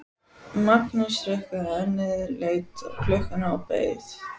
Magnús hrukkaði ennið, leit á klukkuna og beið.